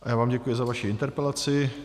A já vám děkuji za vaši interpelaci.